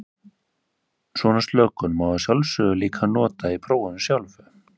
Svona slökun má að sjálfsögðu líka nota í prófinu sjálfu.